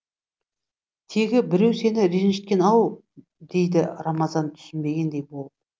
тегі біреу сені ренжіткен ау дейді рамазан түсінбегендей болып